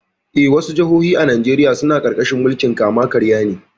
Eh, wasu jihohi a Najeriya suna ƙarƙashin mulkin kama-karya ne.